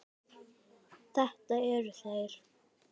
Þetta eru þeir.